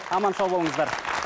аман сау болыңыздар